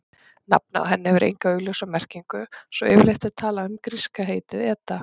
Nafnið á henni hefur enga augljósa merkingu svo yfirleitt er talað um gríska heitið eta.